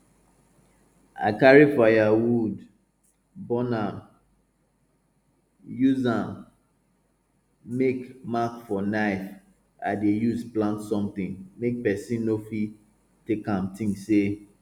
i carry firewood burn am use am make mark for knife wey i dey use plant somtin make person no fit take am think say